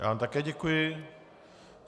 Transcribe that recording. Já vám také děkuji.